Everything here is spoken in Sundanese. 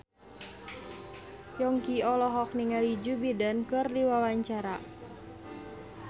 Yongki olohok ningali Joe Biden keur diwawancara